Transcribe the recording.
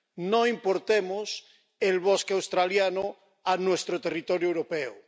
No importemos el bosque australiano a nuestro territorio europeo.